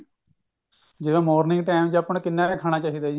ਜਿਹੜਾ morning time ਚ ਆਪਾਂ ਨੂੰ ਕਿੰਨਾ ਕ ਖਾਣਾ ਚਾਹਿਦਾ ਜੀ